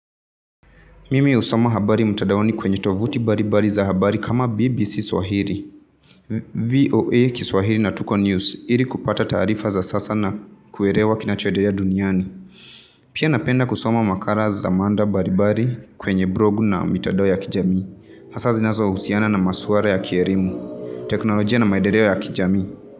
Mimi husoma habari mutadaoni kwenye tovuti baribari za habari kama BBC Swahili. VOA kiswahili na Tuko News iri kupata taarifa za sasa na kuerewa kinachoederea duniani. Pia napenda kusoma makara za manda baribari kwenye blogu na mitadao ya kijami. Hasaa zinazo husiana na masuwara ya kierimu. Teknolojia na maedereo ya kijami.